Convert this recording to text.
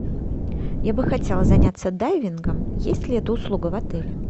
я бы хотела заняться дайвингом есть ли эта услуга в отеле